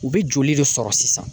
U bɛ joli de sɔrɔ sisan?